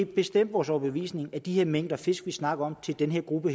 bestemt vores overbevisning at med de mængder fisk vi snakker om til den her gruppe